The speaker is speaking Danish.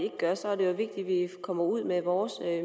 kommer ud med vores